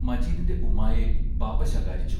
മജീദിന്റെ ഉമ്മായെ ബാപ്പാ ശകാരിച്ചു.